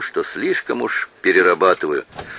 что слишком уж перерабатываю